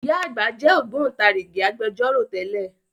Ìyá àgbà jẹ́ Ògbóntarìgì Agbẹjọ́rò tẹ́lẹ̀